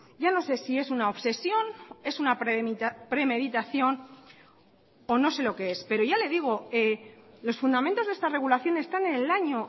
ya no sé si es una obsesión es una premeditación o no sé lo que es pero ya le digo los fundamentos de esta regulación están en el año